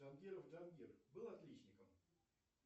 джангиров джангир был отличником